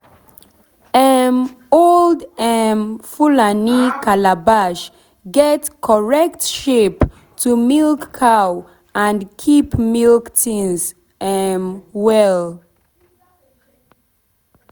if you milk cow correct and for the right time e go give better milk and keep the breast well.